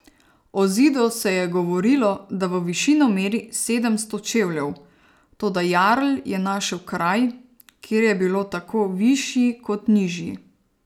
O Zidu se je govorilo, da v višino meri sedemsto čevljev, toda Jarl je našel kraj, kjer je bil tako višji kot nižji.